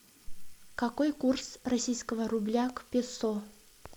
какой курс российского рубля к песо